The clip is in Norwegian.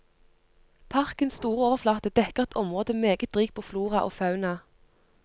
Parkens store overflate dekker et område meget rikt på flora og fauna.